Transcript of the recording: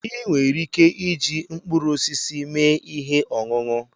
Ị nwere ike iji mkpụrụ osisi mee ihe ọṅụṅụ.